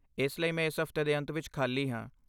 ਇਸ ਲਈ ਮੈਂ ਇਸ ਹਫਤੇ ਦੇ ਅੰਤ ਵਿੱਚ ਖਾਲੀ ਹਾਂ।